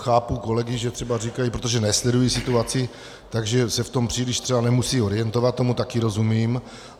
Chápu kolegy, že třeba říkají, protože nesledují situaci, takže se v tom příliš třeba nemusejí orientovat, tomu taky rozumím.